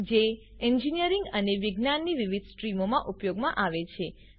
જે એન્જિનિયરિંગ અને વિજ્ઞાનની વિવિધ સ્ટ્રીમોમાં ઉપયોગમાં આવે છે